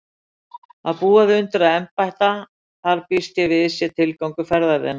Að búa þig undir að embætta þar býst ég við sé tilgangur ferðar þinnar.